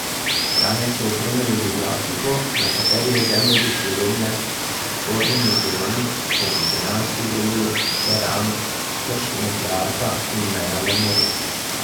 Članek so opremili z grafiko, na kateri je zemljevid Slovenije s spornimi temami, kot so Piranski zaliv, teran, krška nuklearka in meja na Muri.